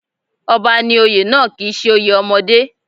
Ọba ní oyè náà kì í ṣe oyè ọmọdé